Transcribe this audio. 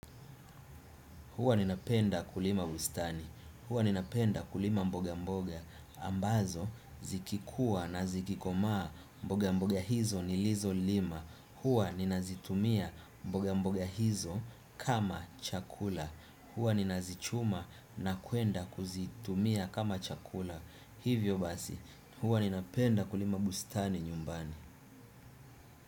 Huwa ninapenda kulima bustani. Huwa ninapenda kulima mboga mboga. Ambazo, zikikua na zikikoma mboga mboga hizo nilizo lima. Hwa ninazitumia mboge mboge hizo kama chakula. Huwa ninazichuma na kwenda kuzitumia kama chakula. Hivyo basi, huwa ninapenda kulima bustani nyumbani.